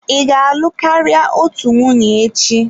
Ị ga-alụ karịa otu nwunye echi?